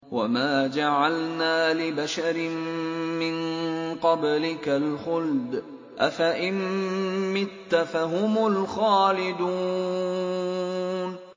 وَمَا جَعَلْنَا لِبَشَرٍ مِّن قَبْلِكَ الْخُلْدَ ۖ أَفَإِن مِّتَّ فَهُمُ الْخَالِدُونَ